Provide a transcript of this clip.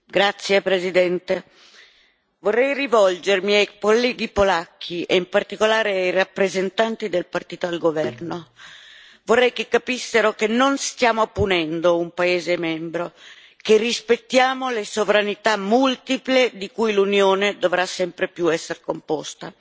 Signor Presidente, onorevoli colleghi, vorrei rivolgermi ai colleghi polacchi e in particolare ai rappresentanti del partito al governo. Vorrei che capissero che non stiamo punendo un paese membro, che rispettiamo le sovranità multiple di cui l'Unione dovrà sempre più essere composta.